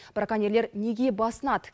браконьерлер неге басынады